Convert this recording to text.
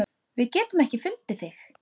Við getum ekki fundið þig.